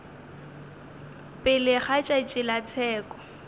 pele ga tšatši la tsheko